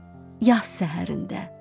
Yaz səhərində.